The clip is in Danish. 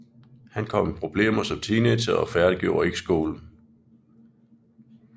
Han kom i problemer som teenager og færdiggjorde ikke skolen